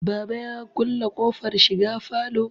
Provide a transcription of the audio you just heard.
baba ya kulle ƙofar shiga falo